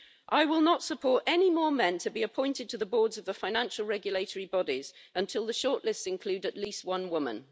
I will not support any more men being appointed to the boards of the financial regulatory bodies until the shortlists include at least one woman.